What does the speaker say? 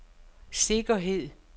sikkerhed